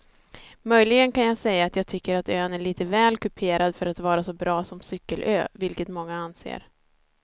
Möjligen kan jag säga att jag tycker att ön är lite väl kuperad för att vara så bra som cykelö vilket många anser.